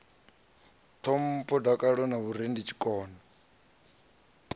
ṱhompho dakalo na vhurereli tshikona